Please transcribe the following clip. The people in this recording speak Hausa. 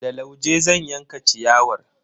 Da lauje zan yanka ciyawar.